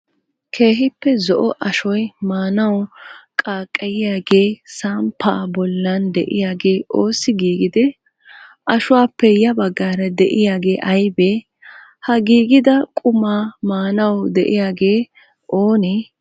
Keehippe zo'o ashshoy maanawu qaaqqayyiyagee saammppaa bollan de'iyagee oosi giggidee? Ashshuwappe ya baggara de'iyagee aybee? Ha giggida qumaa maanawu de'iyaagee oone?